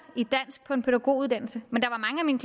i dansk på en pædagoguddannelse men der